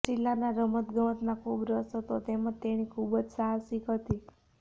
રસીલાના રમતગમતમાં ખૂબ રસ હતો તેમજ તેણી ખૂબ જ સાહસિક હતી